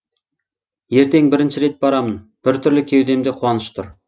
ертең бірінші рет барамын бір түрлі кеудемде қуаныш тұр